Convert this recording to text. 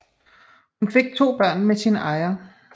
Hun fik to børn med sin ejer